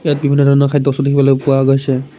ইয়াত বিভিন্ন ধৰণৰ খাদ্য স্তু দেখিবলৈ পোৱা গৈছে।